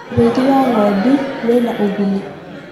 ũrĩithi wa ng'ondu wina ugunĩ